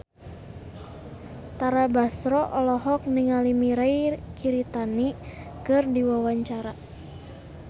Tara Basro olohok ningali Mirei Kiritani keur diwawancara